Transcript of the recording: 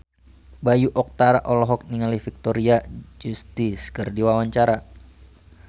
Bayu Octara olohok ningali Victoria Justice keur diwawancara